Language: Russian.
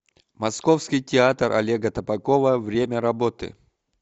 московский театр олега табакова время работы